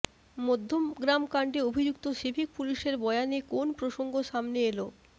মধ্যমগ্রাম কাণ্ডে অভিযুক্ত সিভিক পুলিশের বয়ানে কোন প্রসঙ্গ সামনে এল